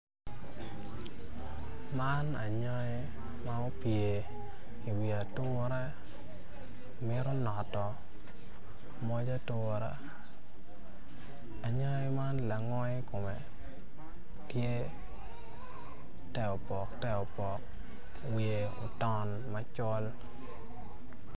Man anyai ma opye i wi ature mito notto moc atura anyai man langwe i kome tye te opok te opok wiye oton amcol.